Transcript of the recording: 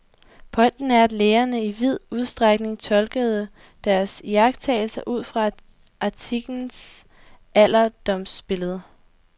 Pointen er, at lægerne i vid udstrækning tolkede deres iagttagelser udfra antikkens alderdomsbillede.